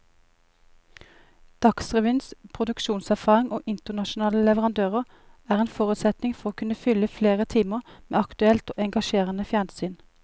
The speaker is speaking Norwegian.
Dagsrevyens produksjonserfaring og internasjonale leverandører er en forutsetning for å kunne fylle flere timer med aktuelt og engasjerende fjernsyn.